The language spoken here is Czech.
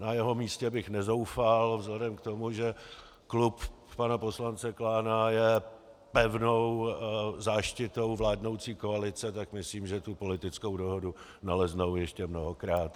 Na jeho místě bych nezoufal vzhledem k tomu, že klub pana poslance Klána je pevnou záštitou vládnoucí koalice, tak myslím, že tu politickou dohodu naleznou ještě mnohokrát.